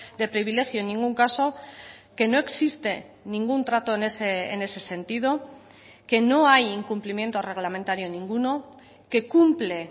de privilegio en ningún caso que no existe ningún trato en ese sentido que no hay incumplimiento reglamentario ninguno que cumple